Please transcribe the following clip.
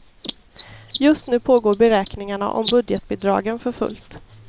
Just nu pågår beräkningarna om budgetbidragen för fullt.